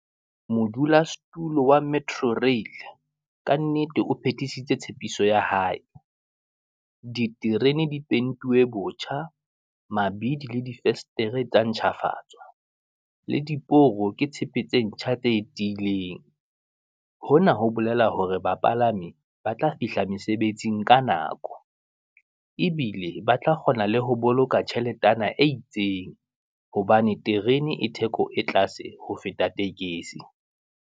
Modula setulo wa metro rail, kannete o phethisise tshepiso ya hae, diterene di pentuwe botjha, mabidi le di festere tsa ntjhafatswa, le diporo ke tshepe tse ntjha tse e tiileng. Hona ho bolela hore bapalami ba tla fihla mesebetsing ka nako, ebile ba tla kgona le ho boloka tjheletana e itseng, hobane terene e theko e tlase ho feta tekesi.